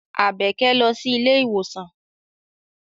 Àbẹ̀kẹ́ lọ sí ilé ìwòsàn.